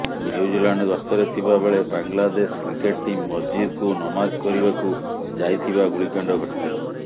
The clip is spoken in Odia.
ନ୍ୟୁଜିଲାଣ୍ଡ ଗସ୍ତରେ ଥିବା ବେଳେ ବାଂଲାଦେଶ କ୍ରିକେଟ୍ ଟିମ୍ ମସଜିଦକୁ ନମାଜ କରିବାକୁ ଯାଇଥିବା ଗୁଳିକାଣ୍ଡ ଘଟିଥିଲା